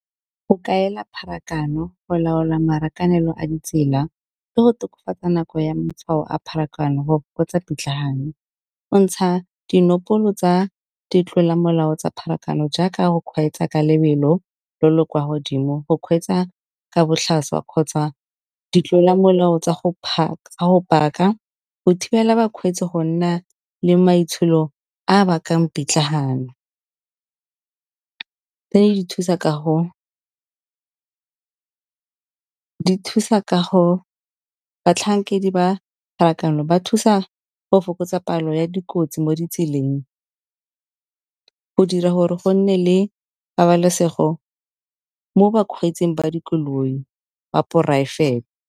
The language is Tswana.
Go kaela pharakano go laola marakanelo a ditsela le go tokafatsa nako ya matshwao a pharakano go fokotsa pitlagano. Go ntsha dinopolo tsa ditlolamolao tsa pharakano jaaka go kgweetsa ka lebelo le le kwa godimo, go kgweetsa ka botlhaswa kgotsa di tlola molao tsa go park-a. Go thibela bakgweetsi go nna le maitsholo a bakang pitlagano, tse di thusa ka go, batlhankedi ba pharakano ba thusa go fokotsa palo ya dikotsi mo ditseleng, go dira gore go nne le pabalesego mo bakgweetsing ba dikoloi ba poraefete.